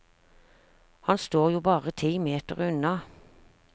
Han står jo bare ti meter unna.